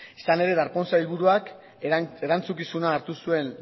izan ere darpón sailburuak erantzukizuna hartu zuen